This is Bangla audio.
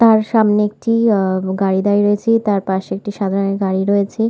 তার সামনে একটি গাড়ি দাঁড়িয়ে রয়েছে তার পাশে একটি সাদা রঙের গাড়ি রয়েছে ।